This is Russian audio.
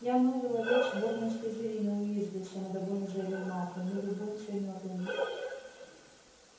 я новый ловец сборной слизерина уизли самодовольно заявил малфой мы любуемся мётлами